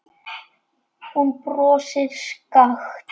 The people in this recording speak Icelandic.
Hún brosir skakkt.